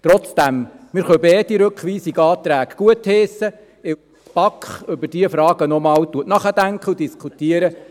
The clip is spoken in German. Trotzdem: Wir können beide Rückweisungsanträge gutheissen, weil die BaK nochmals über diese Fragen nachdenkt und diskutiert.